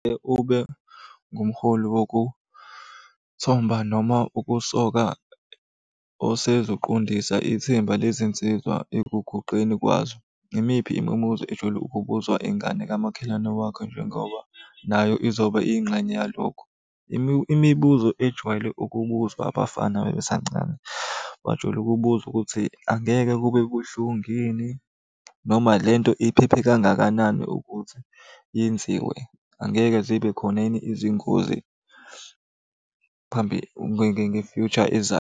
Ube ngumholi wokuthomba noma ukusoka osezoqondisa ithimba lezinsizwa ekuguqeni kwazo. Yimiphi imibuzo ejwayele ukubuzwa ingane kamakhelwane wakho njengoba nayo izoba ingxenye yalokho? Imibuzo ejwayele ukubuzwa abafana uma besancane, bajwayele ukubuza ukuthi, angeke kube buhlungu yini? Noma le nto iphephe kangakanani ukuthi yenziwe. Angeke zibe khona yini izingozi phambi nge-future ezayo?